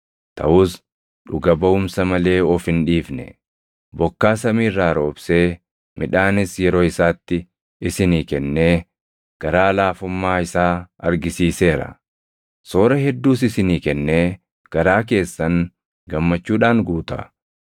taʼus dhuga baʼumsa malee of hin dhiifne. Bokkaa samii irraa roobsee midhaanis yeroo isaatti isinii kennee, garaa laafummaa isaa argisiiseera; soora hedduus isinii kennee garaa keessan gammachuudhaan guuta.”